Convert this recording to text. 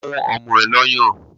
Fún ọmọ ẹ lọ́yàn!